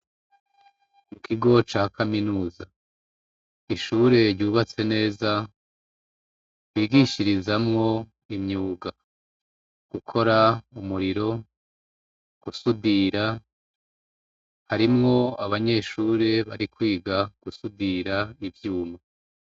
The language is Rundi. Ikigo cakaminuza , ishure ryubatswe neza bigishirizamwo imyuga ,gukora umuriro ,gusudira harimwo abanyeshure barikwiga gusudira ivyuma.